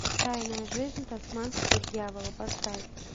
тайная жизнь тасманского дьявола поставь